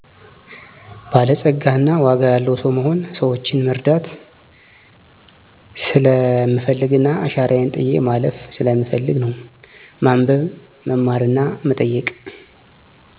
በላፀጋ እና ዋጋ ያለዉ ሰዉ መሆን። ሰወችን መረዳት ሰለምፈልግና አሻራየን ጥየ ማለፍም ስለምፈልግ ነው። ማንበብ; መማርና መጠየቅ